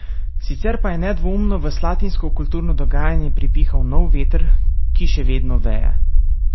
Sicer pa je nedvoumno v slatinsko kulturno dogajanje pripihal nov veter, ki še vedno veje.